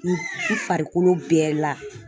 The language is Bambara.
I farikolo bɛɛ la